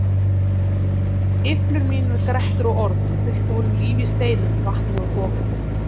Geiflur mínar, grettur og orð kveiktu honum líf í steinum, vatni og þoku.